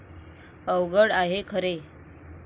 अवघड आहे खरे.